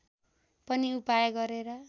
पनि उपाय गरेर